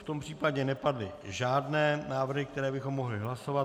V tom případě nepadly žádné návrhy, které bychom mohli hlasovat.